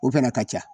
O fɛnɛ ka ca